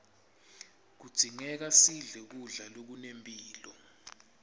kudzingeka sidle kudla lokunempilo